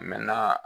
na